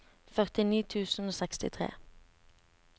førtini tusen og sekstitre